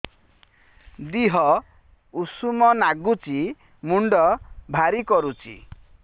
ଦିହ ଉଷୁମ ନାଗୁଚି ମୁଣ୍ଡ ଭାରି କରୁଚି